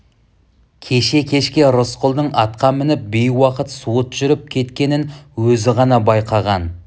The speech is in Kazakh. кеше кешке рысқұлдың атқа мініп бейуақыт суыт жүріп кеткенін өзі ғана байқаған